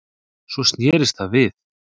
Svo snerist það við